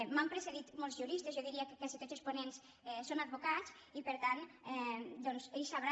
m’han precedit molts juristes jo diria que quasi tots els ponents són advocats i per tant doncs ells deuen saber